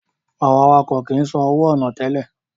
Àwọn awakọ̀ kìí san owó ọ̀nà tẹ́lẹ̀